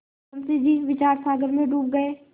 मुंशी जी विचारसागर में डूब गये